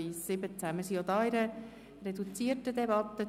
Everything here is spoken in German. Wir befinden uns auch hier in einer reduzierten Debatte.